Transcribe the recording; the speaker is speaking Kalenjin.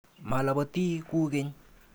Malabati ku keny.